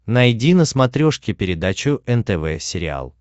найди на смотрешке передачу нтв сериал